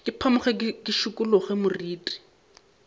ke phamoge ke šikologe moriti